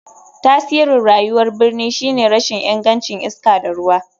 Tasirin rayuwar birni shine rashin ingancin iska da ruwa.